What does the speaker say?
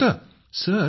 हे माहित होतं